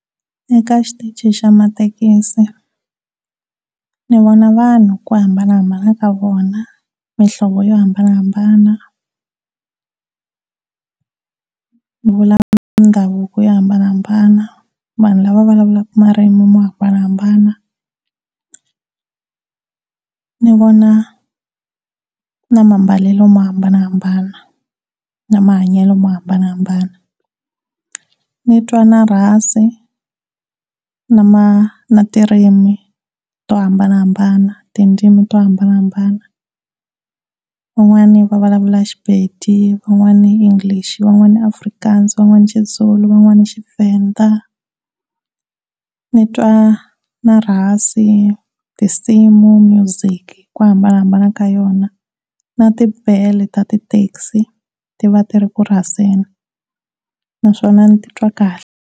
Eka xitichi xa mathekisi ni vona vanhu hi ku hambana ka vona, mihlovo yo hambanahambana, mindhavuko yo hambanahambana, vanhu lava vulavulaka marimi mo hambanahambana, ni vona na mambalelo mo hambanahambana, na mahanyelo mo hambanahambana, nitwa na rhasi na ma na tirimi, tidzimi to hambanahambana. Van'wani va vulavula Sepedi, van'wani English, van'wa Afrikaans, van'wana siZulu, van'wani Tshivenda ndzitwa na na rhasi, tisimu, music hi ku hambanahambana ka yona na tibele ta tithekisi ti va tirhi kurhaseni naswona nititwa kahle.